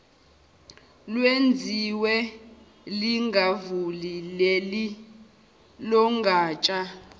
lwenziwe lingavuli lelogatsha